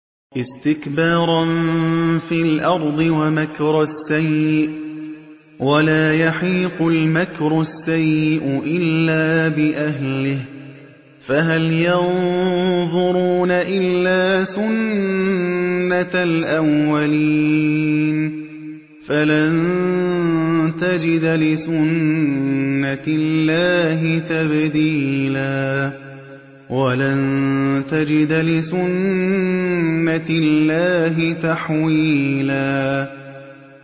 اسْتِكْبَارًا فِي الْأَرْضِ وَمَكْرَ السَّيِّئِ ۚ وَلَا يَحِيقُ الْمَكْرُ السَّيِّئُ إِلَّا بِأَهْلِهِ ۚ فَهَلْ يَنظُرُونَ إِلَّا سُنَّتَ الْأَوَّلِينَ ۚ فَلَن تَجِدَ لِسُنَّتِ اللَّهِ تَبْدِيلًا ۖ وَلَن تَجِدَ لِسُنَّتِ اللَّهِ تَحْوِيلًا